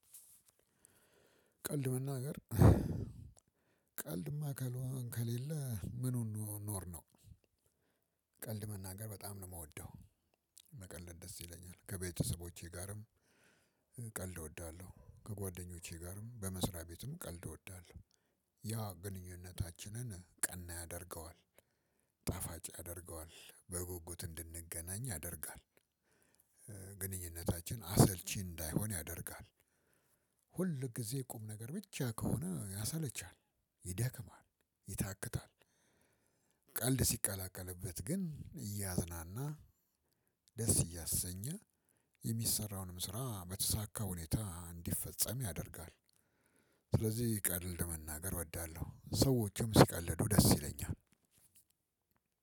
ቀልድ መናገር ቀልድማ ከሌለ ምኑን ኖርነው። ቀልድ መናገር በጣም ነው የምወደው። መቀለድ ደስ ይለኛል ከቤተሰቦቼ ጋርም። ቀልድ እወዳለሁ ከጓደኞቼ ጋርም በመስሪያ ቤትም ቀልድ እወዳለሁ። ያ ግንኙነታችንን ቀና ያደርገዋል። ጣፋጭ ያደርገዋል በጉጉት እንድንገናኝ ያደርጋል። ግንኙነታችን አሰልቺ እንዳይሆን ያደርጋል። ሁል ጊዜ ቁም ነገር ብቻ ከሆነ ያሰለቻል ይደክማል ይታክታል። ቀልድ ሲቀላቀልበት ግን እያዝናና ደስ እያሰኘ የሚሰራውንም ስራ በተሳካ ሁኔታ እንዲፈጸም ያደርጋል። ስለዚህ ቀድል መናገር እወዳለሁ ሰዎችም ሲቀልዱ ደስ ይለኛል።